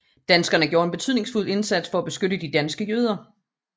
Danskerne gjorde en betydningsfuld indsats for at beskytte de danske jøder